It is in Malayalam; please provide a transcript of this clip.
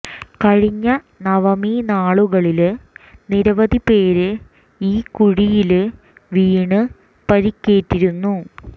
കഴിഞ്ഞ നവമി നാളുകളില് നിരവധി പേര് ഈ കുഴിയില് വീണ് പരിക്കേറ്റിരുന്നു